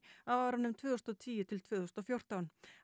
á árunum tvö þúsund og tíu til tvö þúsund og fjórtán